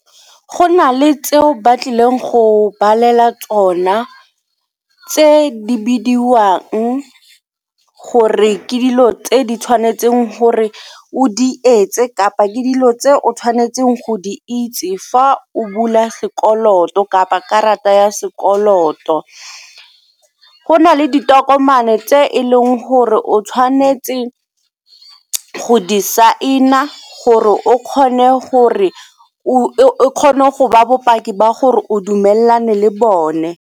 Go na le tseo ba tlileng go balela tsona tse di bidiwang gore ke dilo tse di tshwanetseng gore o di etse kapa ke dilo tse o tshwanetseng go di itse fa o bula sekoloto kapa karata ya sekoloto. Go na le ditokomane tse e leng gore o tshwanetse go di saena gore o kgone gore o kgone go ba bopaki ba gore o dumelane le bone.